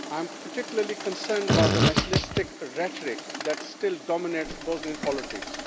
I am particularly concerned about the nationalistic rhetoric that still dominates Bosnian politics.